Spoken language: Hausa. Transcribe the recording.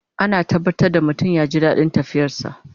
Ana tabbatar da mutum ya ji daɗin tafiyar sa